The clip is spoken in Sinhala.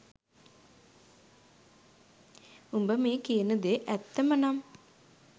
උඹ මේ කියන දේ ඇත්තම නම්